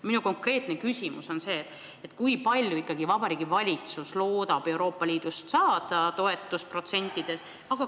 Minu konkreetne küsimus on see: kui palju ikkagi Vabariigi Valitsus loodab Euroopa Liidust saada toetust, mitu protsenti?